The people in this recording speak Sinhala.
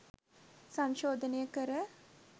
සංශෝධනය කර